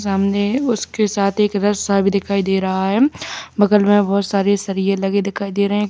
सामने उसके साथ एक रस्सा भी दिखाई दे रहा है बगल में बहुत सारे सरिए लगे दिखाई दे रहे--